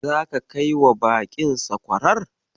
Zaka kai wa baƙin sakwarar?